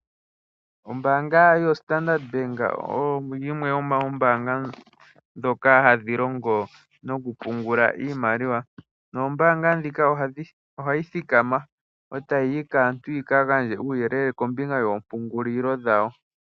Ombaanga yoStandard Bank oyo yimwe yomoombanga ndhoka hadhi longo nokupungula iimaliwa, noombaangandjika ohayi thikama e tayi yi kaantu yika gandje uuyelele kombinga yoompungulilo dhawo.